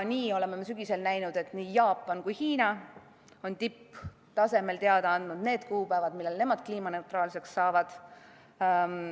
Nii oleme me sügisel näinud, et nii Jaapan kui ka Hiina on tipptasemel teada andnud need kuupäevad, millal nemad kliimaneutraalseks saavad.